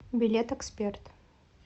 билет эксперт